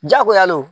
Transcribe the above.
Jagoya le don